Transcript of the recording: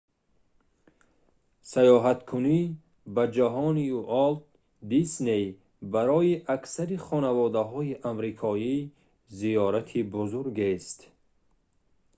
сайёҳаткунӣ ба ҷаҳони уолт дисней барои аксари хонаводаҳои амрикоӣ зиёрати бузургест